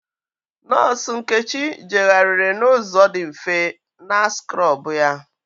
Nọọsụ Nkechi jegharịrị n'ụzọ dị mfe na skrọbụ ya.